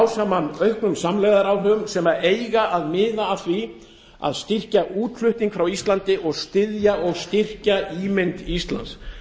saman auknum samlegðaráhrifum sem eiga að miða að því að styrkja útflutning frá íslandi og styðja og styrkja ímynd íslands